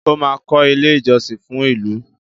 ọ má kò ilé ìjósìn fún ìlú.